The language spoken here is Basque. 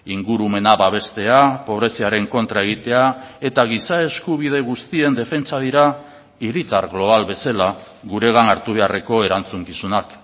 ingurumena babestea pobreziaren kontra egitea eta giza eskubide guztien defentsa dira hiritar global bezala guregan hartu beharreko erantzukizunak